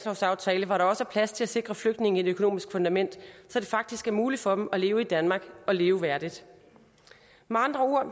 sikre flygtninge et økonomisk fundament så det faktisk er muligt for dem at leve i danmark og leve værdigt med andre ord